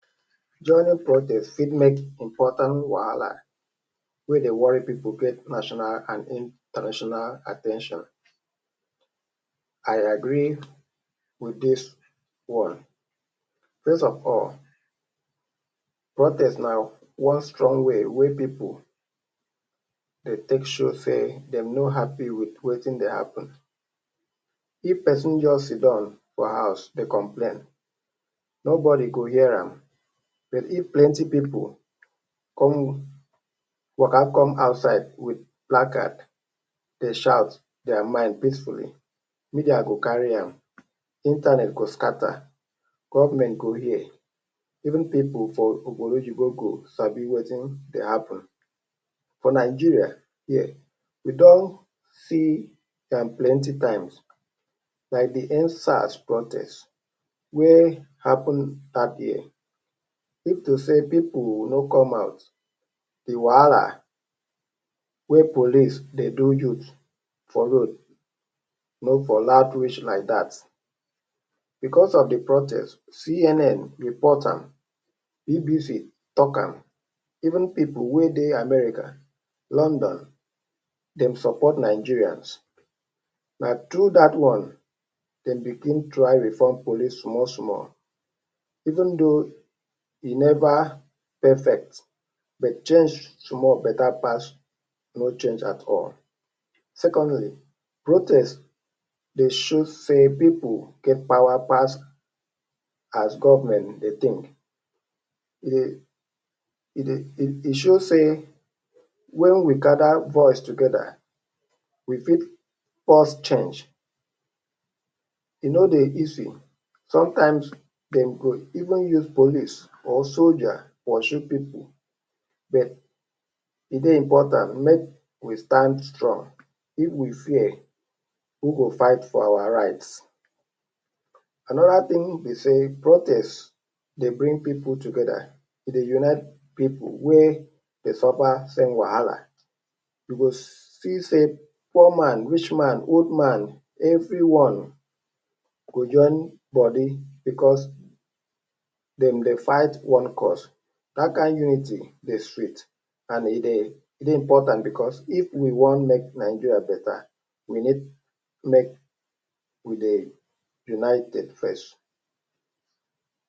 Joining protest fit make important wahala wey dey worry people create national and international at ten tion. I agree with this one. First of all, protest na one strong way wey pipu dey take show say dem no happy with wetin dey happen. If pesin just sitdon for house dey complain, nobody go hear am. But if plenty pipu come waka come outside with black placards dey shout their mind peacefully, media go carry am, internet go scatter, government go hear, even pipu for obodo oyinbo sabi wetin dey happen. For Nigeria here, we don see am plenty times, like the End SARS protest wey happen dat year. If to say pipu no come out, the wahala wey police dey do youth for road no for loud reach like dat. Because of the protest, CNN report am, BBC talk am, even pipu wey dey America, London, dem support Nigerians. Na through dat one dem begin try reform police small, small. E thou hin never perfect but change small better pass e no change at all. Secondly, protest dey show say people get power pass as government dey think. E dey show say when we gather voice together, we fit force change. E no dey easy. Sometimes, dem go even use police or soldier pursue pipu. But, e dey important make we stand strong. If we fear, who go fight for our rights? Another thing be say protest dey bring pipu together. E dey unite pipu wey dey suffer same wahala. You go see say poor man, rich man, old man—everyone go join body because dem dey fight one cause. Dat kin unity dey sweet and e dey important because if we wan make Nigeria better, we need make we dey united first.